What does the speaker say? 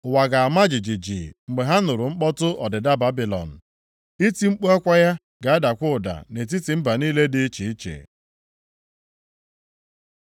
Ụwa ga-ama jijiji mgbe ha nụrụ mkpọtụ ọdịda Babilọn, iti mkpu akwa ya ga-adakwa ụda nʼetiti mba niile dị iche iche.